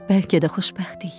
Bəlkə də xoşbəxtik.